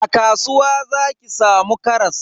A kasuwa zaki samu karas.